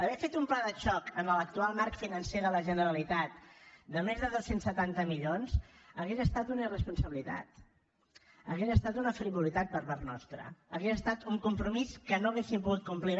haver fet un pla de xoc en l’actual marc financer de la generalitat de més de dos cents i setanta milions hauria estat una irresponsabilitat hauria estat una frivolitat per part nostra hauria estat un compromís que no hauríem pogut complir